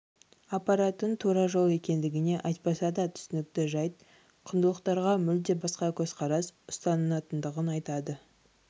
апаратын тура жол екендігі айтпаса да түсінікті жайт құндылықтарға мүлде басқа көзқарас ұстанатындығын айтады